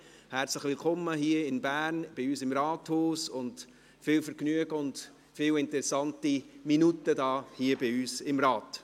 Herzlich willkommen hier in Bern, bei uns im Rathaus, und viel Vergnügen und viele interessante Minuten hier bei uns im Rat!